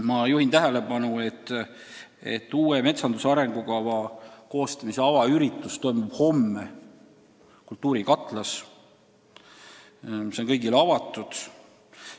Ma juhin ka tähelepanu, et uue metsanduse arengukava koostamise avaüritus toimub homme Kultuurikatlas, see on kõigile avatud.